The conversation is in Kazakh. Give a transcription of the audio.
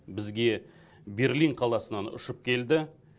бізге берлин қаласынан ұшып келді